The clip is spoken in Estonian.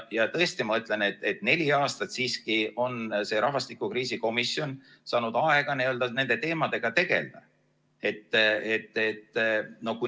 Ja tõesti, ma ütlen, et neli aastat on see rahvastikukriisi komisjon saanud aega nende teemadega tegeleda.